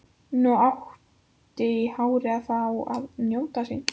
Nú átti hárið að fá að njóta sín.